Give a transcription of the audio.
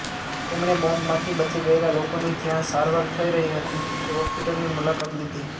તેમણે બોંબમાંથી બચી ગયેલા લોકોની જ્યાં સારવાર થઈ રહી હતી તે હોસ્પિટલની મુલાકાત લીધી